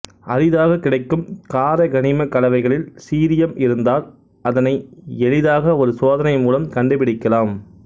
அரிதாக கிடைக்கும் காரக்கனிம கலவைகளில் சீரியம் இருந்தால் அதனை எளிதாக ஒரு சோதனை மூலம் கண்டுபிடிக்கலாம்